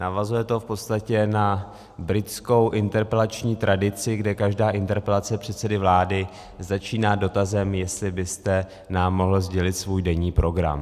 Navazuje to v podstatě na britskou interpelační tradici, kde každá interpelace předsedy vlády začíná dotazem, jestli byste nám mohl sdělit svůj denní program.